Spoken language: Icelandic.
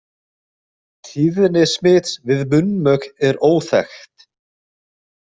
Tíðni smits við munnmök er óþekkt.